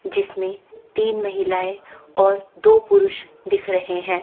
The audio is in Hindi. जिसमें तीन महिलाएं और दो पुरुष दिख रहे हैं।